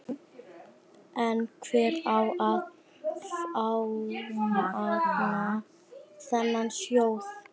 En hver á að fjármagna þennan sjóð?